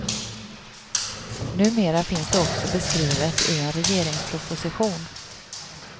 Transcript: Numera finns det också beskrivet i en regeringsproposition.